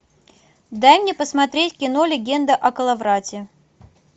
дай мне посмотреть кино легенда о коловрате